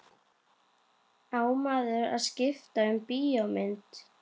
Á maður að skipta um bíómynd?